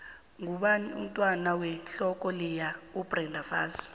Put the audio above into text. ngubani umntwand wehloko leya ubrenda fassie